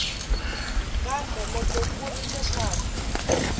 kambe loko ku ri leswaku